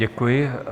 Děkuji.